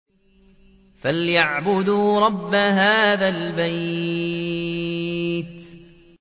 فَلْيَعْبُدُوا رَبَّ هَٰذَا الْبَيْتِ